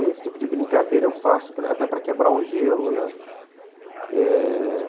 Então esse tipo de brincadeira eu faço até para quebrar o gelo, né? é...